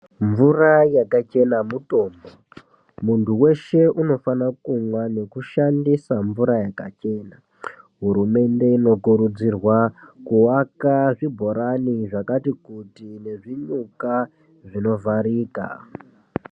Mvura yakachena mutombo, munthu weshe unofana kumwa nekushandisa mvura yakachena, hurumende inokurudzirwa kuwaka zvibhorani zvakati kuti nezvinyuka zvinovharika.